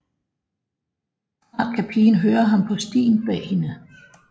Snart kan pigen høre ham på stien bag hende